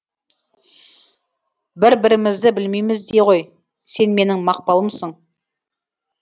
бір бірімізді білмейміз де ғой сен менің мақпалымсың